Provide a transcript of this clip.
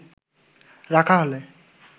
রাখা হলে